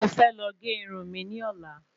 Mo fẹ́ lọ gé irun mi ní ọ̀la